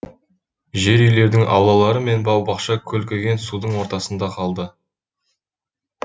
жер үйлердің аулалары мен бау бақша көлкіген судың ортасында қалды